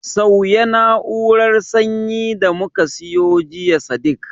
Sauya na'urar sanyi da muka siyo jiya Sadiq